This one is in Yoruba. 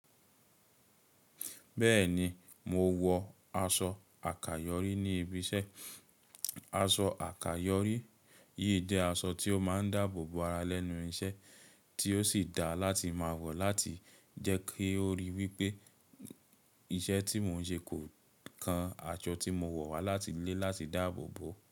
Bẹ́ẹ̀ni, mo wọ aṣọ àkàyọ́rí ní ibi iṣẹ́. Aṣọ àkàyọ́rí yìí jẹ́ aṣọ tí ó máa ń dáàbò bo ara lẹ́nu iṣẹ́, tí ó sì da láti máa wọ̀ láti jẹ́ kí ó rí wí pé iṣẹ́ tí mò ń ṣe kò kan aṣọ tí mo wọ̀ wá láti ilé láti dáàbò bo.